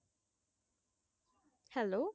Hello,